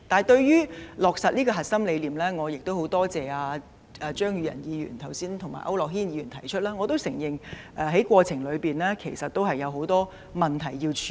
對於落實這個核心理念，我很多謝張宇人議員及區諾軒議員剛才提出，而我亦承認過程中有很多問題需要處理。